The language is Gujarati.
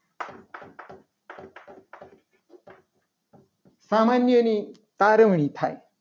સામાન્ય ની તારવણી થાય.